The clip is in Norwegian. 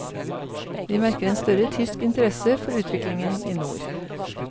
Vi merker en større tysk interesse for utviklingen i nord.